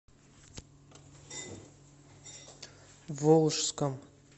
волжском